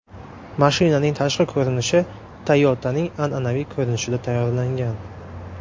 Mashinaning tashqi ko‘rinishi Toyota’ning an’anaviy ko‘rinishida tayyorlangan.